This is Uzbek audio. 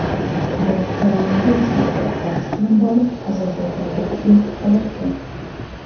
Bu koronavirus yuqtirib olish bilan bog‘liq Ozarbayjondagi ilk holatdir.